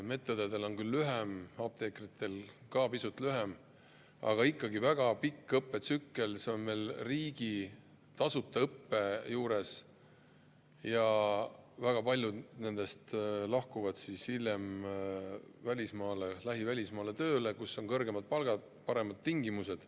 Medõdedel on küll lühem, apteekritel ka pisut lühem, aga ikkagi on see väga pikk õppetsükkel, see on veel riiklik, tasuta õpe, ja väga paljud nendest lahkuvad hiljem tööle välismaale, lähivälismaale, kus on kõrgemad palgad ja paremad tingimused.